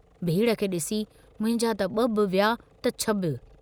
भीड़ खे डिसी मुंहिंजा त ब॒ बि विया त छ बि।